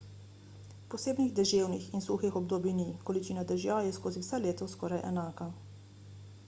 posebnih deževnih in suhih obdobij ni količina dežja je skozi vse leto skoraj enaka